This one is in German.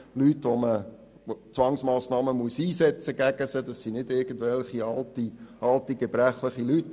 Bei Leuten, bei denen man Zwangsmassnahmen einsetzen muss, handelt es sich nicht um irgendwelche alten gebrechlichen Personen.